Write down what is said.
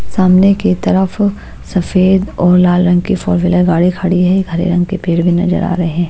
सामने की तरफ सफेद और लाल रंग की फोर -व्हीलर गाड़ी खड़ी है एक हरे रंग के पेड़ भी नजर आ रहे हैं।